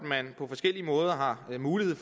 man på forskellige måder har mulighed